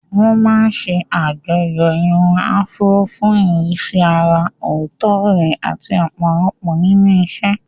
Wọ́n máa ń ṣe àjọyọ̀ irun Afro fún ìrísí àrà ọ̀tọ̀ rẹ̀ àti ọ̀pọ̀lọpọ̀ nínú ìṣe.